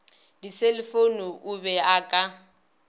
diselefoune o be a ka